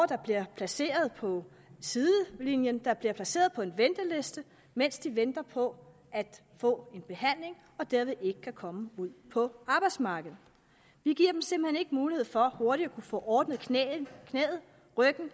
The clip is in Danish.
der bliver placeret på sidelinjen der bliver placeret på en venteliste mens de venter på at få en behandling og som derved ikke kan komme ud på arbejdsmarkedet vi giver dem simpelt mulighed for hurtigt at få ordnet knæet eller ryggen